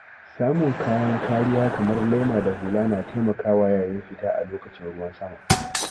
Samun kayan kariya kamar laima da hula na taimakawa yayin fita a lokacin ruwan sama.